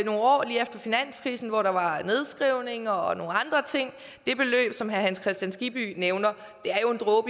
nogle år lige efter finanskrisen hvor der var nedskrivninger og nogle andre ting det beløb som herre hans kristian skibby nævner